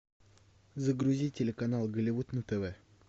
загрузи телеканал голливуд на тв